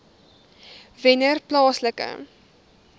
wennerplaaslike